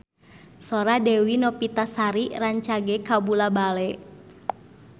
Sora Dewi Novitasari rancage kabula-bale